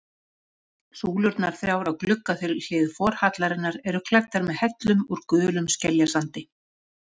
Súlurnar þrjár á gluggahlið forhallarinnar eru klæddar með hellum úr gulum skeljasandi.